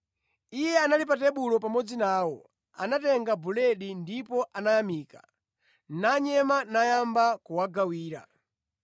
Iye ali pa tebulo pamodzi nawo, anatenga buledi ndipo anayamika, nanyema nayamba kuwagawira.